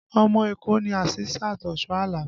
Ọmọ Èkó ni Asisat Oshoala